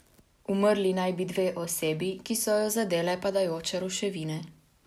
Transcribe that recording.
Umrli naj bi dve osebi, ki so ju zadele padajoče ruševine.